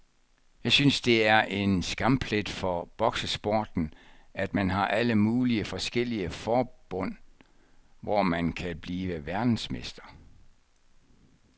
Jeg synes det er en skamplet for boksesporten, at man har alle mulige forskellige forbund, hvor man kan blive verdensmester.